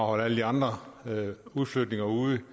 holde alle de andre udflytninger ude